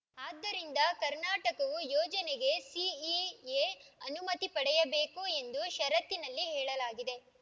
ಆದ್ದರಿಂದ ಕರ್ನಾಟಕವು ಯೋಜನೆಗೆ ಸಿಇಎ ಅನುಮತಿ ಪಡೆಯಬೇಕು ಎಂದು ಷರತ್ತಿನಲ್ಲಿ ಹೇಳಲಾಗಿದೆ